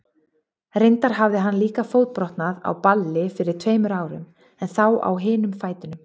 Reyndar hafði hann líka fótbrotnað á balli fyrir tveimur árum, en þá á hinum fætinum.